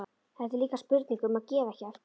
Þetta er líka spurning um að gefa ekki eftir.